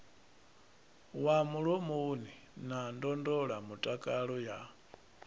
wa mulomoni na ndondolamutakalo ya